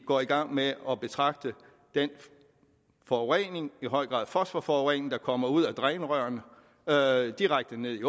går i gang med at betragte den forurening i høj grad fosforforurening der kommer ud af drænrørene og direkte ned i